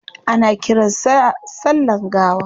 Ana kiran sa sallan gawa